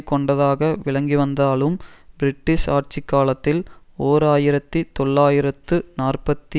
கொண்டதாக விளங்கிவந்தாலும் பிரிட்டிஷ் ஆட்சி காலத்தில் ஓர் ஆயிரத்தி தொள்ளாயிரத்து நாற்பத்தி